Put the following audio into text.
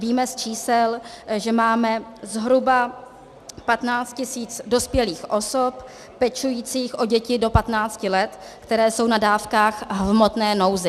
Víme z čísel, že máme zhruba 15 tisíc dospělých osob pečujících o děti do 15 let, které jsou na dávkách v hmotné nouzi.